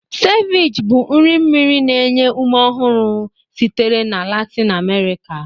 Ceviche bụ nri mmiri na-enye ume ọhụrụ sitere na Latin America.